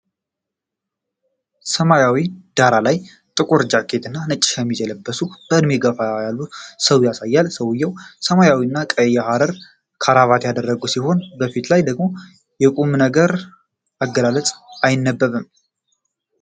በሰማያዊ ዳራ ላይ ጥቁር ጃኬት እና ነጭ ሸሚዝ የለበሱ በዕድሜ የገፉ ሰው ያሳያል። ሰውዬው ሰማያዊና ቀይ የሐር ክራቫት ያደረጉ ሲሆን፣ በፊቱ ላይ ደግሞ የቁምነገር አገላለጽ አይነበብም?